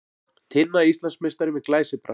Tinna Íslandsmeistari með glæsibrag